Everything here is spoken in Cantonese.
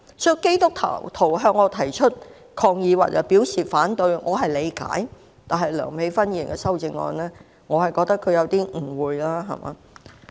所以，基督徒向我提出抗議，表示反對，我是理解的，但梁美芬議員的修正案，我覺得她有點誤會了。